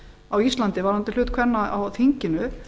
á íslandi varðandi hlut kvenna á þinginu